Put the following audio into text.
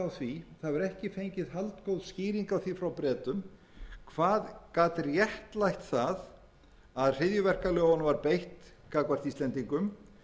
á því frá bretum hvað gat réttlætt það að hryðjuverkalögunum var beitt gagnvart íslendingum